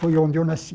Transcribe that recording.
Foi onde eu nasci.